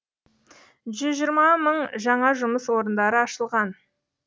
жүз жиырма мың жаңа жұмыс орындары ашылған